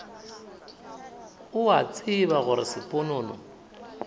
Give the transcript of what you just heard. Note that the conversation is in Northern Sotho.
o a tseba gore sponono